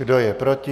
Kdo je proti?